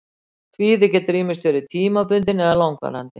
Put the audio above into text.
Kvíði getur ýmist verið tímabundinn eða langvarandi.